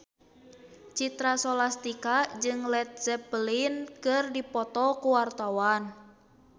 Citra Scholastika jeung Led Zeppelin keur dipoto ku wartawan